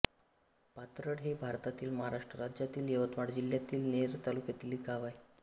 पाथरड हे भारतातील महाराष्ट्र राज्यातील यवतमाळ जिल्ह्यातील नेर तालुक्यातील एक गाव आहे